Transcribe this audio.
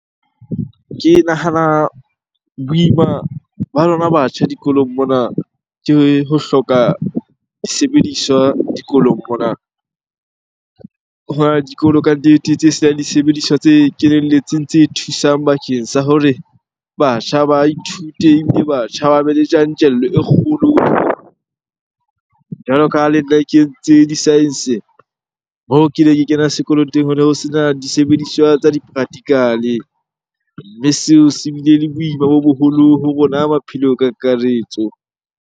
Ke nahana boima ba lona batjha dikolong mona ke ho hloka disebediswa dikolong mona. Hona le dikolo kannete tse senang disebediswa tse kenelletseng tse thusang bakeng sa hore batjha ba ithute ebile batjha ba be le tjantjello e kgolo. Jwalo ka ha le nna ke tse di-science, moo ke ne ke kena sekolo teng ho ne ho sena disebediswa tsa di-practical-e. Mme seo se bile le boima bo boholo ho rona maphelong ka kakaretso.